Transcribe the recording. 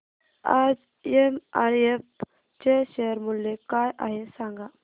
आज एमआरएफ चे शेअर मूल्य काय आहे सांगा